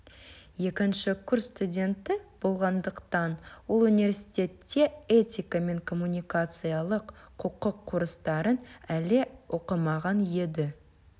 екінші курс студенті болғандықтан ол университетте этика мен коммуникациялық құқық курстарын әлі оқымаған еді